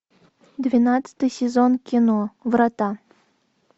двенадцатый сезон кино врата